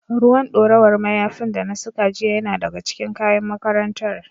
Ruwan ɗorawar mayafin da na saka jiya yana daga cikin kayan makarantar.